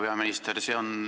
Härra peaminister!